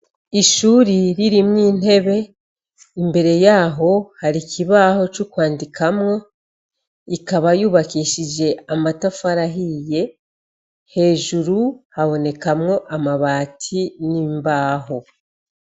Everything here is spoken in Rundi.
Ishuri ririmwo intebe imbere yaho hari ikibaho cokwandikamwo ikaba yubakishije amatafari ahiye hejuru habonekamwo amabati nimbaho.